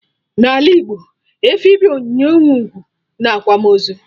n'ala Igbo, efi bụ onyinye nwe ugwu na akwamaozu